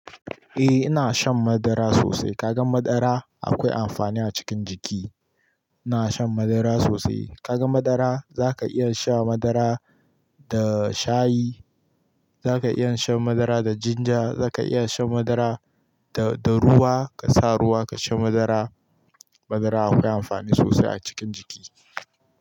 Eh ina shan madara sosai. Ka gan madara akwai amfani a cikin jiki. Ina shan madara sosai. Ka gan madara zaka iya sha madara da shayi, zaka iya shan madara da jinja, zaka iya shan madara da, da ruwa. Ka sa ruwa ka sha madara. Madara akwai amfani sosai a cikin jiki.